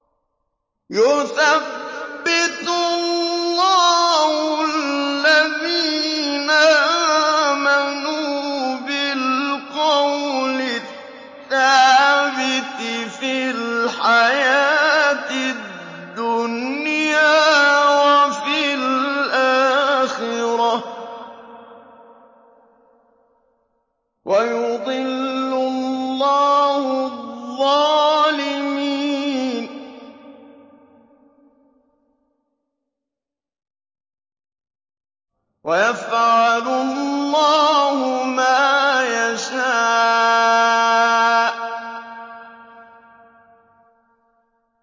يُثَبِّتُ اللَّهُ الَّذِينَ آمَنُوا بِالْقَوْلِ الثَّابِتِ فِي الْحَيَاةِ الدُّنْيَا وَفِي الْآخِرَةِ ۖ وَيُضِلُّ اللَّهُ الظَّالِمِينَ ۚ وَيَفْعَلُ اللَّهُ مَا يَشَاءُ